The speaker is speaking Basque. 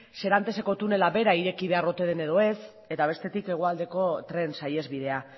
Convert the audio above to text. seranteseko tunela bera ireki behar ote den edo ez eta bestetik hegoaldeko tren saihesbidea